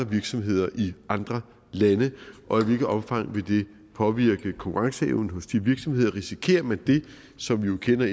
virksomheder i andre lande og i hvilket omfang vil det påvirke konkurrenceevnen hos de virksomheder risikerer man det som vi jo kender